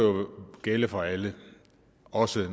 gælde for alle også